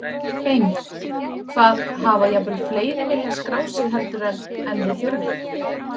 Heimir: Hvað, hafa jafnvel fleiri viljað skráð sig heldur en, en þið þurfið?